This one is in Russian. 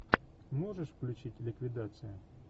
можешь включить ликвидация